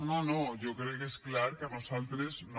no no jo crec que és clar que a nosaltres no